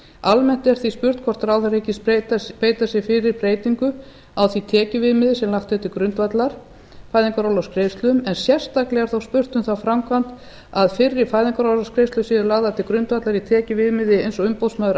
almennt er því spurt hvort ráðherra hyggist beita sér fyrir breytingu á því tekjuviðmiði sem lagt er til grundvallar fæðingarorlofsgreiðslum en sérstaklega er þó spurt um þá framkvæmd að fyrri fæðingarorlofsgreiðslur séu lagðar til grundvallar í tekjuviðmiði eins og umboðsmaður